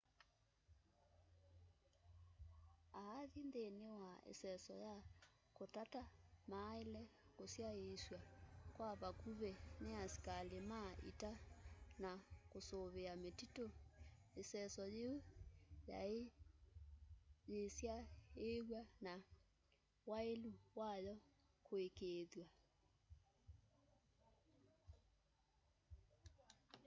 aathi nthini wa iseso ya kutata maaile kusyaiisw'a kwa vakuvi ni asikali ma ita sya kusuvia mititu iseso yiu yiisyaiiw'a na wailu wayo kuikiithwa